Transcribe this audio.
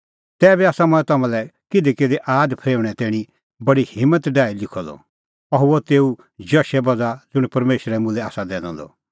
तैबी आसा मंऐं तम्हां लै किधीकिधी आद फरेऊणें तैणीं बडी हिम्मत डाही लिखअ द अह हुअ तेऊ जशे बज़्हा ज़ुंण परमेशरै मुल्है आसा दैनअ द